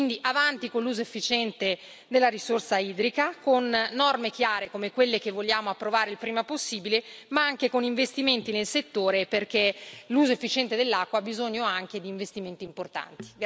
Quindi, avanti con l'uso efficiente della risorsa idrica, con norme chiare come quelle che vogliamo approvare il prima possibile, ma anche con investimenti nel settore, perché l'uso efficiente dell'acqua ha bisogno anche di investimenti importanti.